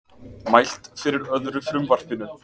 Mælt fyrir öðru frumvarpinu